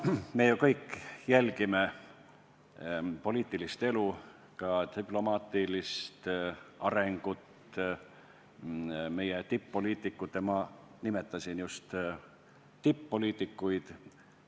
Me kõik jälgime poliitilist elu, ka diplomaatilist arengut, meie tipp-poliitikute – ma nimetasin just tipp-poliitikuid – tegemisi.